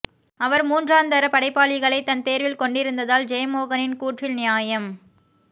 அவர் மூன்றாந்தர படைப்பாளிகளைத் தன்தேர்வில் கொண்டிருந்தால் ஜெயமோகனின் கூற்றில் நியாயம்